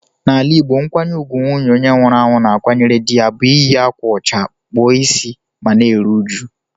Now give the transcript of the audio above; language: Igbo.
N'ala Igbo, nkwanye ùgwù nwunye onye nwụrụ anwụ na-akwanyere dị ya bụ iyi ákwà ụcha, kpụọ ịsị ma na-eru uju.